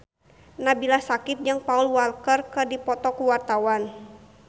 Nabila Syakieb jeung Paul Walker keur dipoto ku wartawan